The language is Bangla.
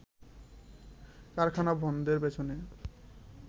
কারখানা বন্ধের পেছনে